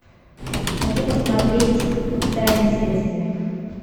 хочу посмотреть тайны следствия